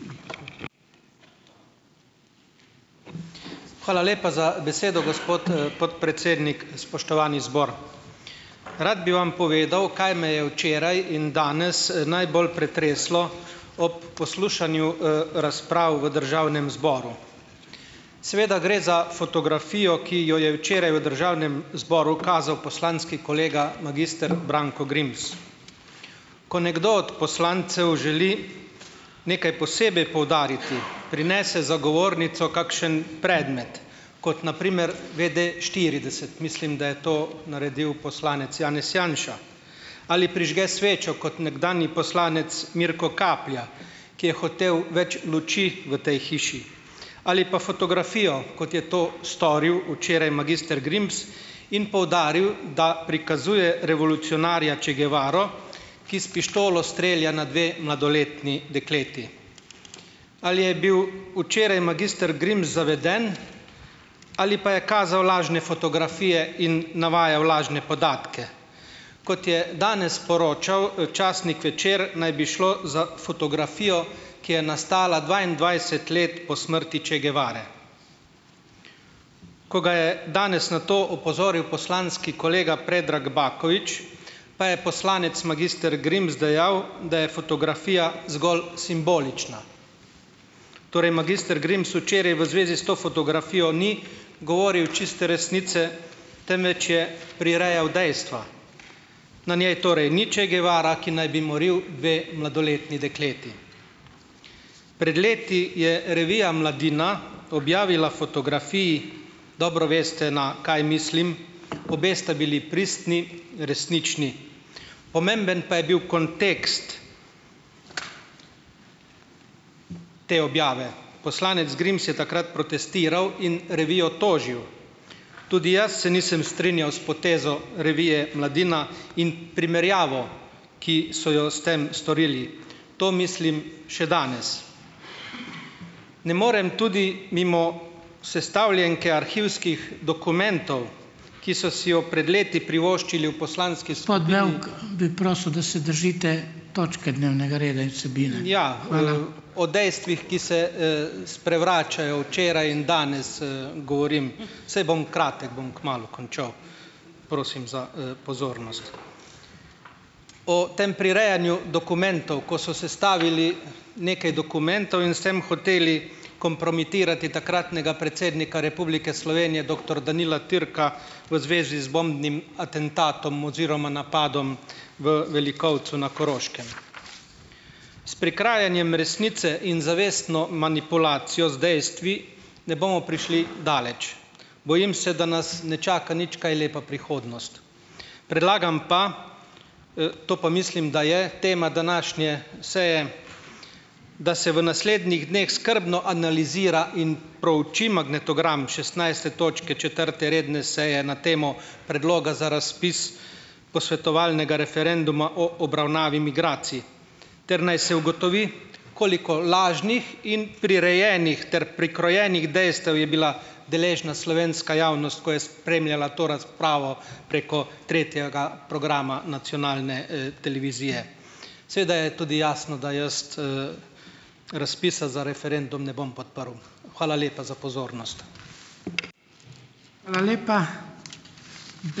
Hvala lepa za besedo, gospod, podpredsednik. Spoštovani zbor! Rad bi vam povedal, kaj me je včeraj in danes najbolj pretreslo ob poslušanju razprav v državnem zboru. Seveda gre za fotografijo, ki jo je včeraj v državnem zboru kazal poslanski kolega magister Branko Grims. Ko nekdo od poslancev želi nekaj posebej poudariti, prinese za govornico kakšen predmet, kot na primer WDštirideset, mislim, da je to naredil poslanec Janez Janša, ali prižge svečo, kot nekdanji poslanec Mirko Kaplja, ki je hotel več luči v tej hiši, ali pa fotografijo, kot je to storil včeraj magister Grims in poudaril, da prikazuje revolucionarja Che Guevaro, ki s pištolo strelja na dve mladoletni dekleti. Ali je bil včeraj magister Grims zaveden ali pa je kazal lažne fotografije in navajal lažne podatke? Kot je danes sporočal časnik Večer, naj bi šlo za fotografijo, ki je nastala dvaindvajset let po smrti Che Guevare. Ko ga je danes na to opozoril poslanski kolega Predrag Bakovič, pa je poslanec magister Grims dejal, da je fotografija zgolj simbolična. Torej magister Grims včeraj v zvezi s to fotografijo ni govoril čiste resnice, temveč je prirejal dejstva. Na njej torej ni Che Guevara, ki naj bi moril dve mladoletni dekleti. Pred leti je revija Mladina objavila fotografiji, dobro veste, na kaj mislim, obe sta bili pristni, resnični. Pomemben pa je bil kontekst te objave. Poslanec Grims je takrat protestiral in revijo tožil. Tudi jaz se nisem strinjal s potezo revije Mladina in primerjavo, ki so jo s tem storili. To mislim še danes. Ne morem tudi mimo sestavljenke arhivskih dokumentov, poslanski skupini. Ja, o dejstvih, ki se, sprevračajo včeraj in danes, govorim, saj bom kratek, bom kmalu končal. Prosim za, pozornost. O tem prirejanju dokumentov, ko so sestavili nekaj dokumentov in s tem hoteli kompromitirati takratnega predsednika Republike Slovenije, doktor Danila Türka, v zvezi z bombnim atentatom oziroma napadom v Velikovcu na Koroškem. S "prikrajanjem" resnice in zavestno manipulacijo z dejstvi ne bomo prišli daleč. Bojim se, da nas ne čaka nič kaj lepa prihodnost. Predlagam pa, to pa mislim, da je tema današnje seje, da se v naslednjih dneh skrbno analizira in prouči magnetogram šestnajste točke četrte redne seje na temo predloga za razpis posvetovalnega referenduma o obravnavi migracij ter naj se ugotovi, koliko lažnih in prirejenih ter prikrojenih dejstev je bila deležna slovenska javnost, ko je spremljala to razpravo preko tretjega programa nacionalne, televizije. Seveda je tudi jasno, da jaz, razpisa za referendum ne bom podprl. Hvala lepa za pozornost.